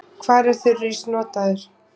Hvar er þurrís notaður?